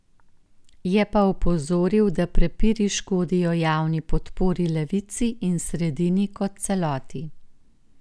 Je pa opozoril, da prepiri škodijo javni podpori levici in sredini kot celoti.